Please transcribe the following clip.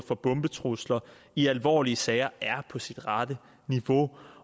for bombetrusler i alvorlige sager er på sit rette niveau